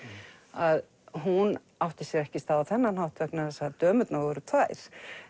að hún átti sér ekki stað á þennan hátt vegna þess að dömurnar voru tvær